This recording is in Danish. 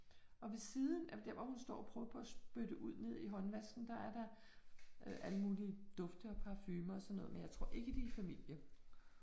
Og ved siden af, der hvor hun står og prøver på at spytte ud nede i håndvasken, der er der alle mulige dufte og parfumer og sådan noget, men jeg tror ikke, de er i familie